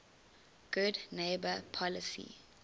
good neighbor policy